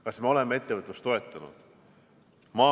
Kas me oleme ettevõtlust toetanud?